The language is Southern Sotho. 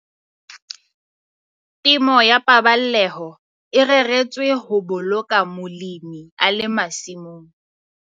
Temo ya paballeho e reretswe ho boloka molemi a le masimong.